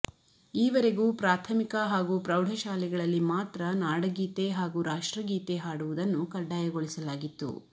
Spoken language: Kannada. ಈವರೆಗೂ ಪ್ರಾಥಮಿಕ ಹಾಗೂ ಪ್ರೌಢಶಾಲೆಗಳಲ್ಲಿ ಮಾತ್ರ ನಾಡಗೀತೆ ಹಾಗೂ ರಾಷ್ಟ್ರಗೀತೆ ಹಾಡುವುದನ್ನು ಕಡ್ಡಾಯಗೊಳಿಸಲಾಗಿತ್ತು